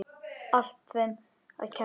Allt þeim að kenna.!